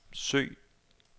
søg